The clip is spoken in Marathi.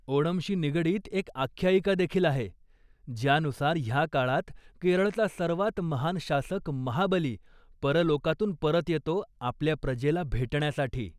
ओनमशी निगडीत एक आख्यायिकादेखील आहे, ज्यानुसार ह्या काळात केरळचा सर्वात महान शासक महाबली, परलोकातून परत येतो, आपल्या प्रजेला भेटण्यासाठी.